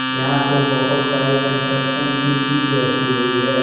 यहां पे बहुत सारे कंस्ट्रक्शन की चीज रखी हुई है।